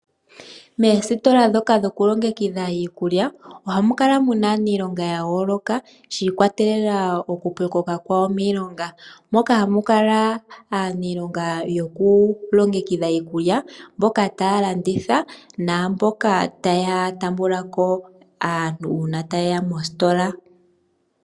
Moositola ndhoka dhokulongekidha iikulya ohamu kala mu na aaniilonga ya yooloka shi ikwatelela kokupyokoka kawo miilonga. Ohamu kala aaniilonga yokulongekidha iikulya, mboka taya landitha naamboka taya taamba ko aantu uuna taye ya mositola.